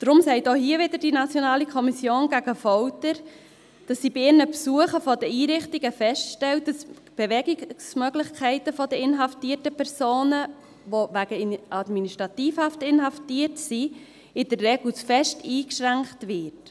Deshalb sagt die NKVF auch hier wieder, dass sie bei ihren Besuchen der Einrichtungen feststellt, dass die Bewegungsmöglichkeiten der wegen Administrativhaft inhaftierten Personen in der Regel zu stark eingeschränkt werden.